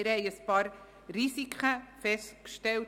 Wir haben einige Risiken festgestellt.